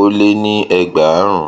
ó lé ní ẹgbàárùn